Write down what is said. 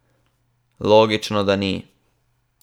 Logično, da ni.